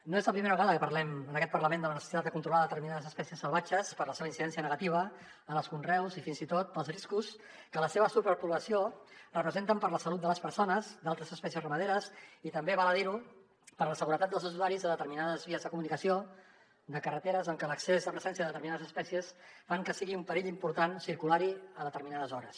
no és la primera vegada que parlem en aquest parlament de la necessitat de con·trolar determinades espècies salvatges per la seva incidència negativa en els conreus i fins i tot pels riscos que la seva superpoblació representa per a la salut de les perso·nes d’altres espècies ramaderes i també val a dir·ho per a la seguretat dels usuaris de determinades vies de comunicació de carreteres en què l’accés la presència de determinades espècies fa que sigui un perill important circular·hi a determinades hores